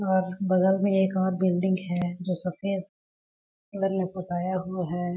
और बगल मे एक और बिल्डिंग है जो सफ़ेद कलर। मे पोताया हुआ है।